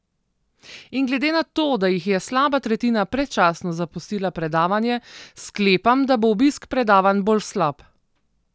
In glede na to, da jih je slaba tretjina predčasno zapustila predavanje, sklepam, da bo obisk predavanj bolj slab.